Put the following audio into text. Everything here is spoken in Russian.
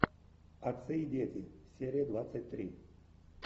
отцы и дети серия двадцать три